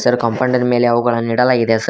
ಕಾಂಪೌಂಡಿನ ಮೇಲೆ ಅವುಗಳನ್ನು ಇಡಲಾಗಿದೆ ಸರ್ .